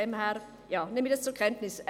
Gut, ich nehme das zur Kenntnis.